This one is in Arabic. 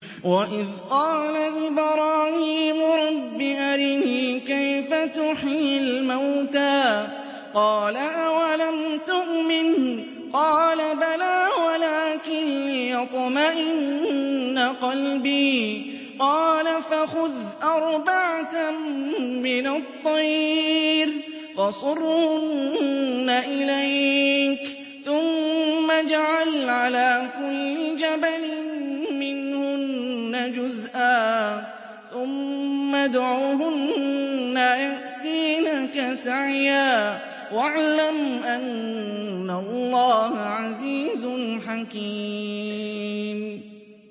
وَإِذْ قَالَ إِبْرَاهِيمُ رَبِّ أَرِنِي كَيْفَ تُحْيِي الْمَوْتَىٰ ۖ قَالَ أَوَلَمْ تُؤْمِن ۖ قَالَ بَلَىٰ وَلَٰكِن لِّيَطْمَئِنَّ قَلْبِي ۖ قَالَ فَخُذْ أَرْبَعَةً مِّنَ الطَّيْرِ فَصُرْهُنَّ إِلَيْكَ ثُمَّ اجْعَلْ عَلَىٰ كُلِّ جَبَلٍ مِّنْهُنَّ جُزْءًا ثُمَّ ادْعُهُنَّ يَأْتِينَكَ سَعْيًا ۚ وَاعْلَمْ أَنَّ اللَّهَ عَزِيزٌ حَكِيمٌ